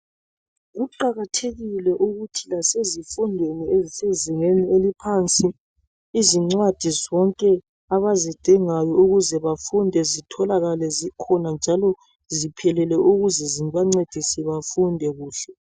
Kuqakathekile ukuthi lasezifundweni ezisezingeni eliphansi, izincwadi zonke abazidingayo ukuze bafunde zitholakale zikhona njalo ziphelele ukuze zibancedise bafunde kuhle.